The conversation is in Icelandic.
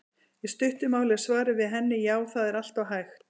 Í stuttu máli er svarið við henni: Já, það er alltaf hægt.